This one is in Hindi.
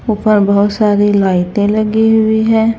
ऊपर बहुत सारी लाइटे लगी हुई है।